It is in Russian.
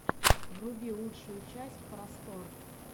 вруби лучшую часть просторъ